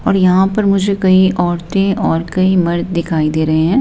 और यहां पर मुझे कई औरतें और कई मर्द दिखाई दे रहे हैं।